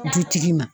Dutigi ma